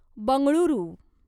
Bengaluru